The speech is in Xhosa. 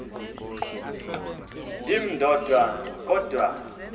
ndim ndodwa kodwa